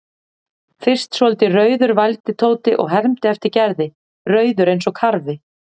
Fyrst svolítið rauður vældi Tóti og hermdi eftir Gerði, rauður eins og karfi.